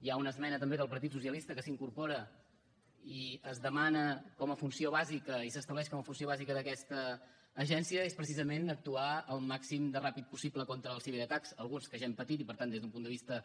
hi ha una esmena també del partit socialista que s’incorpora i es demana com a funció bàsica i s’estableix com a funció bàsica d’aquesta agència és precisament actuar al màxim de ràpid possible contra els ciberatacs alguns que ja hem patit i per tant des d’un punt de vista